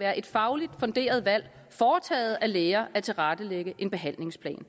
være et fagligt funderet valg foretaget af læger at tilrettelægge en behandlingsplan